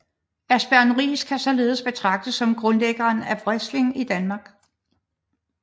Asbjørn Riis kan således betragtes som grundlæggeren af wrestling i Danmark